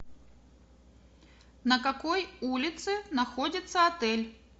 на какой улице находится отель